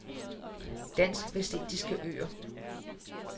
Dansk Vestindiske Øer